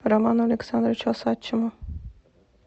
роману александровичу осадчему